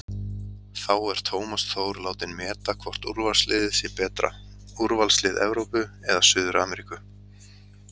Þá er Tómas Þór látinn meta hvort úrvalsliðið sé betra, úrvalslið Evrópu eða Suður-Ameríku?